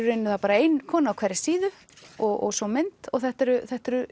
ein kona á hverri síðu og svo mynd og þetta eru þetta eru